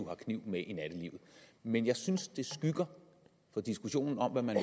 har kniv med i nattelivet men jeg synes det skygger for diskussionen om hvad man